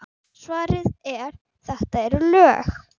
Svarið er: þetta eru lög!